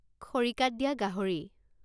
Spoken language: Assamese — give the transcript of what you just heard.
খৰিকাত দিয়া গাহৰি